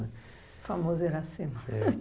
O famoso Iracema. É